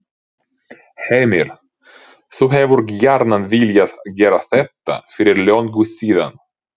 Heimir: Þú hefur gjarnan viljað gera þetta fyrir löngu síðan?